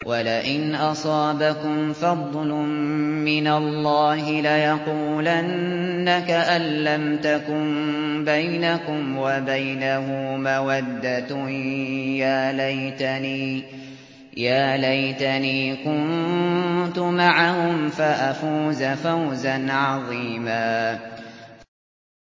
وَلَئِنْ أَصَابَكُمْ فَضْلٌ مِّنَ اللَّهِ لَيَقُولَنَّ كَأَن لَّمْ تَكُن بَيْنَكُمْ وَبَيْنَهُ مَوَدَّةٌ يَا لَيْتَنِي كُنتُ مَعَهُمْ فَأَفُوزَ فَوْزًا عَظِيمًا